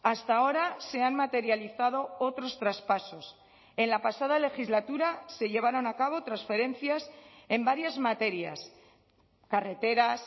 hasta ahora se han materializado otros traspasos en la pasada legislatura se llevaron a cabo transferencias en varias materias carreteras